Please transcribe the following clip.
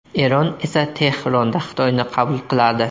Eron esa Tehronda Xitoyni qabul qiladi.